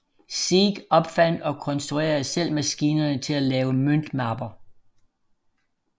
Sieg opfandt og konstruerede selv maskinerne til at lave møntmapper